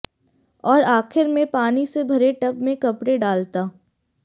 और आखिर में पानी से भरे टब में कपड़े डालता